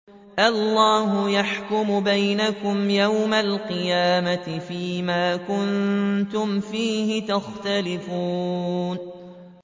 اللَّهُ يَحْكُمُ بَيْنَكُمْ يَوْمَ الْقِيَامَةِ فِيمَا كُنتُمْ فِيهِ تَخْتَلِفُونَ